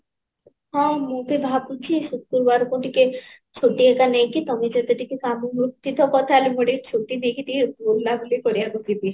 ହଁ ମୁଁ ତ ଭାବୁଚି ଶୁକ୍ରବାରକୁ ଟିକେ ଛୁଟି ଘରିକା ନେଇକି ତମ ସହିତ ଟିକେ ମୁଁ ଟିକେ ଛୁଟି ନେଇକି ବୁଲା ବୁଲି କରିବାକୁ ଯିବି